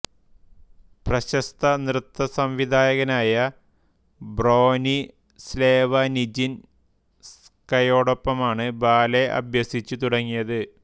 പ്രശസ്ത നൃത്ത സംവിധായകനായ ബ്രോനിസ്ലേവ നിജിൻസ്ക്കയോടൊപ്പമാണ് ബാലെ അഭ്യസിച്ചു തുടങ്ങിയത്